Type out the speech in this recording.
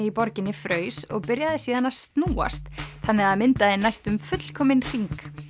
í borginni fraus og byrjaði síðan að snúast þannig að það myndaði næstum fullkominn hring